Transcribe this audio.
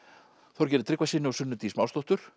Þorgeiri Tryggvasyni og Sunnu Dís